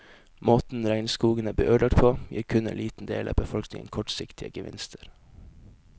Måten regnskogene blir ødelagt på, gir kun en liten del av befolkningen kortsiktige gevinster.